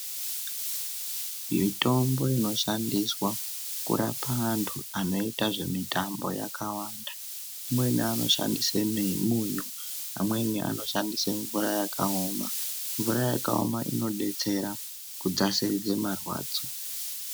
Mitombo inoshandiswa kurapa anhu anoita zvemitambo yakawanda amweni anoshandise munyu, amweni anoshandise mvura yakaoma mvura yakaoma inodetsera kudzasiridze marwadzo.